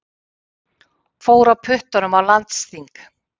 Fór á puttanum á landsþing